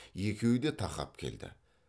екеуі де тақап келді